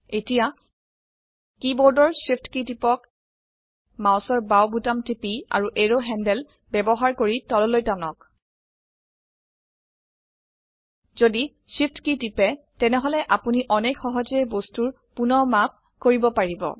এটিয়াকীবোৰ্ডেৰ shift key টিপক মাউসৰ বাউ বোতাম টিপি আৰু এৰো হেণ্ডল ব্যবহাৰ কৰিতললৈ টানক যদি Shift কী টিপে তেনেহলে আপোনি অনেক সহজে বস্তুৰ পুনঃ মাপ কৰিব পাৰিব